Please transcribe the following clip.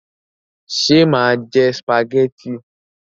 Ṣé mà jẹ sìpàgẹ́tì?